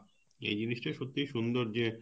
এই জিনিস টা সত্যিই সুন্দর যে